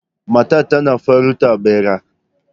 Matar tana farautar bera